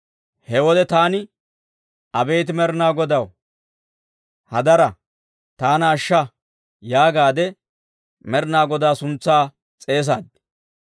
He wode taani, «Abeet Med'inaa Godaw, hadaraa! Taana ashsha» yaagaade Med'inaa Godaa suntsaa s'eesaad.